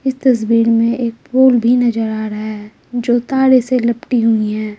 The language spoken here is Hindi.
इस तस्वीर में एक पोल भी नजर आ रहा है जो तारे से लपटी हुई है।